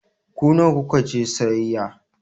Ku nawa ku ka je sayayya?